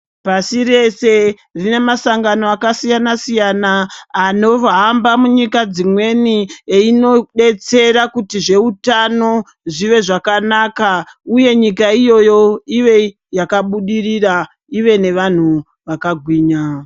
Pashi reshe zvine masangano akasiyanasiyana anohamba munyika dzimweni eindodetsera kuti zveutano zvive zvakanaka uye nyika iyoyo ive akabudirira ive nevanhu vakagwinya.